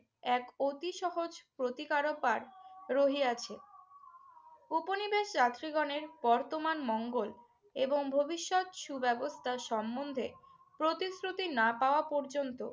এক অতি সহজ প্রতিকারপাড় রহিয়াছে। ঔপনিবেশ যাত্রীগণের বর্তমান মঙ্গল এবং ভবিষ্যৎ সুব্যবস্থা সম্বন্ধে প্রতিশ্রুতি না পাওয়া পর্যন্ত